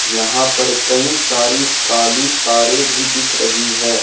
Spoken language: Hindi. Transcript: यहां पर कई सारी काली तारे भी दिख रही है।